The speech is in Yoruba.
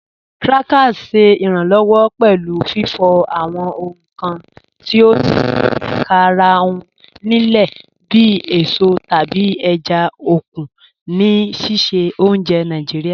Krakers ṣẹ iranlọwọ pẹlu fifọ awọn ohun kan ti o ni ikarahun lile bi èsọ tabi èjá okun ni sísẹ ọ̀unjẹ́ Naijiria.